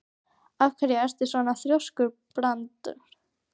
Af hverju ertu svona þrjóskur, Brandr?